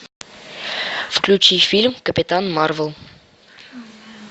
включи фильм капитан марвел